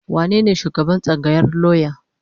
Wanene shugaban tsangayar lauya?